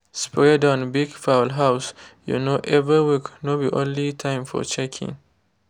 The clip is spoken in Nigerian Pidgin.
spray down big fowl house um every week no be only time for checking.